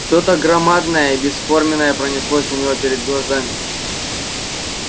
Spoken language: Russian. что то громадное и бесформенное пронеслось у него перед глазами